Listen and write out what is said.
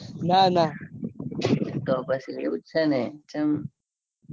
તો પછી એવું જ છે. ને ચમ